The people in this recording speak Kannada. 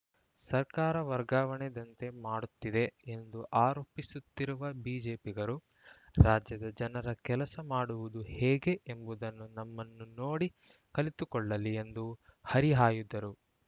ಸರ್ಕಾರ ವರ್ಗಾವಣೆ ದಂಧೆ ಮಾಡುತ್ತಿದೆ ಎಂದು ಆರೋಪಿಸುತ್ತಿರುವ ಬಿಜೆಪಿಗರು ರಾಜ್ಯದ ಜನರ ಕೆಲಸ ಮಾಡುವುದು ಹೇಗೆ ಎಂಬುದನ್ನು ನಮ್ಮನ್ನು ನೋಡಿ ಕಲಿತುಕೊಳ್ಳಲಿ ಎಂದು ಹರಿಹಾಯ್ದರು